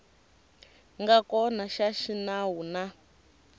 nga kona xa xinawu na